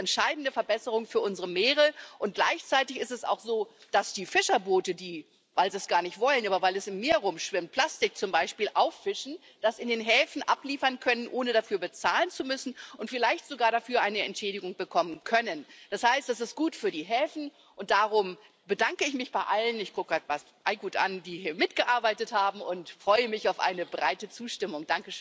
Das ist eine entscheidende Verbesserung für unsere Meere, und gleichzeitig ist es auch so, dass die Fischerboote, die, nicht weil sie es wollen, sondern weil es im Meer herumschwimmt, z. B. Plastik auffischen, das in den Häfen abliefern können, ohne dafür bezahlen zu müssen, und sogar vielleicht dafür eine Entschädigung bekommen können. Das heißt, das ist gut für die Häfen, und darum bedanke ich mich bei allen ich schaue gerade Bas Eickhout an die hier mitgearbeitet haben, und freue mich auf eine breite Zustimmung.